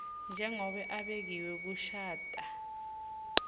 njengobe abekiwe kushatha